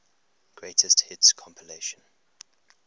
greatest hits compilation